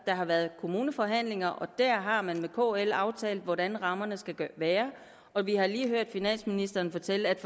der har været kommuneforhandlinger og der har man med kl aftalt hvordan rammerne skal være og vi har lige hørt finansministeren fortælle at